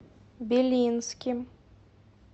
белинским